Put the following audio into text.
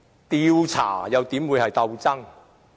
調查又怎會是鬥爭？